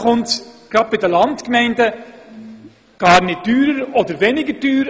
Gerade bei den Landgemeinden ist es oft sogar umgekehrt: